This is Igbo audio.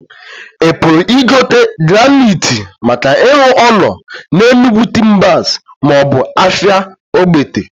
I puru igote graniitee maka ilu ulo na Enugu Timbers ma obu afia Ogbete?